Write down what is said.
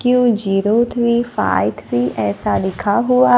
Q zero three five three ऐसा लिखा हुआ--